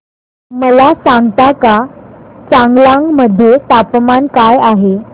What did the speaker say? मला सांगता का चांगलांग मध्ये तापमान काय आहे